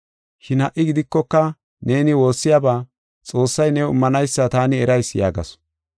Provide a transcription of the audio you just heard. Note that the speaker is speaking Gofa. Shin ha77i gidikoka neeni woossiyaba Xoossay new immanaysa taani erayis” yaagasu.